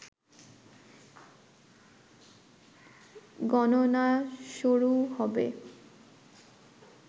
গণনা শুরু হবে